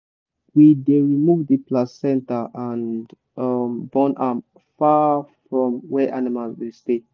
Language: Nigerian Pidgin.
we dey remove the placenta and um burn am far from where animals dey stay.